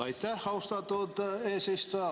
Aitäh, austatud eesistuja!